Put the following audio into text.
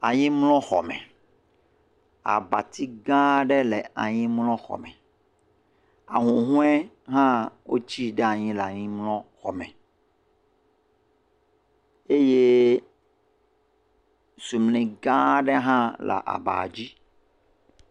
ayinmlɔ xɔ me eye abatsi gã ɖe le ayinmlɔ xɔ me ahuhoe hã wó tsi ɖayin le ayinmlɔ xɔ me eye sumli gã aɖe hã le aba dzí